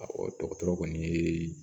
dɔgɔtɔrɔ kɔni ye